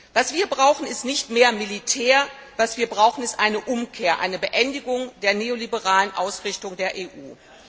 Was wir brauchen, ist nicht mehr Militär, was wir brauchen, ist eine Umkehr, eine Beendigung der neoliberalen Ausrichtung der EU.